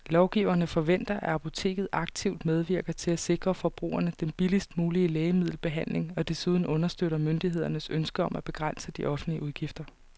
Lovgiverne forventer, at apoteket aktivt medvirker til at sikre forbrugerne den billigst mulige lægemiddelbehandling og desuden understøtter myndighedernes ønske om at begrænse de offentlige udgifter.